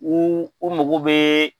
U u mago bɛɛɛ.